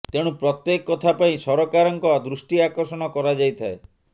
ତେଣୁ ପ୍ରତ୍ୟେକ କଥା ପାଇଁ ସରକାରଙ୍କ ଦୃଷ୍ଟି ଆକର୍ଷଣ କରାଯାଇଥାଏ